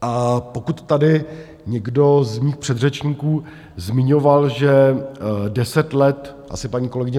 A pokud tady někdo z mých předřečníků zmiňoval, že deset let - asi paní kolegyně